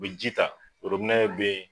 U bɛ ji ta, worobinɛ bɛ yen.